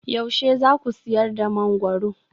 Yaushe za ku sayar da mangwaro?